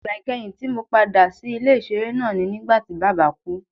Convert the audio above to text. Igba ikẹhin ti Mo pada si ile-iṣere naa ni nigbati baba ku